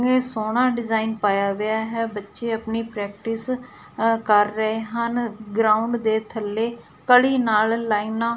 ਇਹ ਸੋਹਣਾ ਡਿਜ਼ਾਈਨ ਪਾਇਆ ਹੋਇਆ ਹੈ ਬੱਚੇ ਅਪਨੀ ਪ੍ਰੇਕਟਿਸ ਆਹ ਕਰ ਰਹੇ ਹਨ ਗਰਾਊਂਡ ਦੇ ਥੱਲੇ ਕਲੀ ਨਾਲ ਲਾਈਨਾਂ --